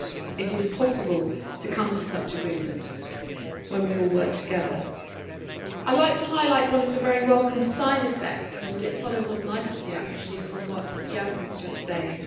It is possible to come to such agreements when we all work together. I would like to highlight one of the very welcome side effects. It follows on nicely from what Jan was just saying.